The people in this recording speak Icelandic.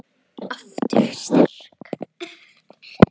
Aftur sterk.